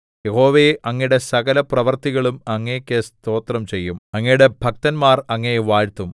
യഹോവേ അങ്ങയുടെ സകലപ്രവൃത്തികളും അങ്ങേക്കു സ്തോത്രം ചെയ്യും അങ്ങയുടെ ഭക്തന്മാർ അങ്ങയെ വാഴ്ത്തും